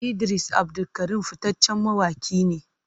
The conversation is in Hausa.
Idris Abdulkarim fitaccen mawaki ne.